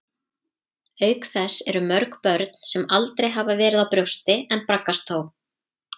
Auk þess eru mörg börn sem aldrei hafa verið á brjósti, en braggast þó.